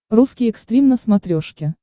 русский экстрим на смотрешке